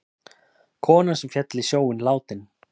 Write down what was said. Konan sem féll í sjóinn látin